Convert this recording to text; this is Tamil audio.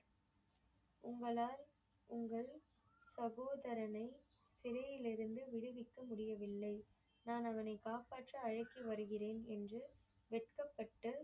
உங்களால் உங்கள் சகோதரனை சிறையில் இருந்து விடுவிக்க முடியவில்லை. நான் அவனை காப்பாற்ற அழைத்து வருகிறேன் என்று வெட்கப்பட்டு